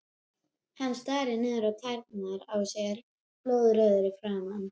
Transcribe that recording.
Hann starir niður á tærnar á sér, blóðrauður í framan.